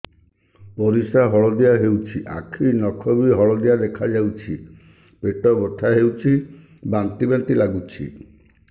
ପରିସ୍ରା ହଳଦିଆ ହେଉଛି ଆଖି ନଖ ବି ହଳଦିଆ ଦେଖାଯାଉଛି ପେଟ ବଥା ହେଉଛି ବାନ୍ତି ବାନ୍ତି ଲାଗୁଛି